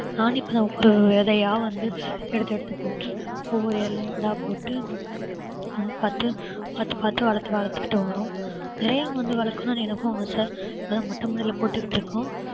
நானும் இப்ப தான் ஒவ்வொரு விதையா வந்து எடுத்து எடுத்து போட்டு ஒவ்வொரு இலை போட்டு வந்து பார்த்து பார்த்து பார்த்து வளத்~ வளர்த்துக்கிட்டு வர்றோம் நிறைய வந்து வளர்க்கணும் எனக்கும் ஆசை இப்பதான் மொட்டை மாடியில போட்டுகிட்டு இருக்கோம்